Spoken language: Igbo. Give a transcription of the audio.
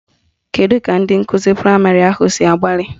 Kedu ka ndị nkụzi praịmarị ahụ si gbalịa?